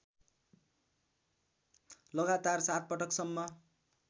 लगातार ७ पटकसम्म